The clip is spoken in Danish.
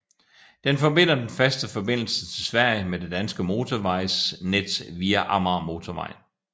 Den forbinder den faste forbindelse til Sverige med det danske motorvejsnet via Amagermotorvejen